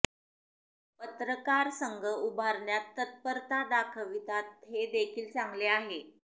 पत्रकार संघ उभारण्यात तत्परता दाखवितात हे देखील चांगले आहे